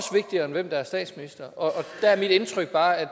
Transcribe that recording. der er mit indtryk bare at